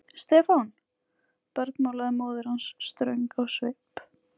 Stefán! bergmálaði móðir hans ströng á svip.